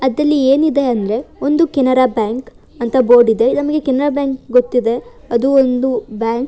ಅದರಲ್ಲಿ ಏನಿದೆ ಅಂದರೆ ಒಂದು ಕೆನರಾ ಬ್ಯಾಂಕ್ ಅಂತ ಬೋರ್ಡ್ ಇದೆ ಯಾಕಂದ್ರೆ ಕೆನರಾ ಬ್ಯಾಂಕ್ ಗೊತ್ತಿದೆ ಅದು ಒಂದು ಬ್ಯಾಂಕ್ .